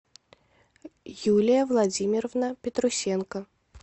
юлия владимировна петрусенко